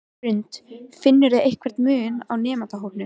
Hrund: Finnurðu einhvern mun eftir nemendahópum?